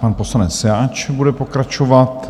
Pan poslanec Jáč bude pokračovat.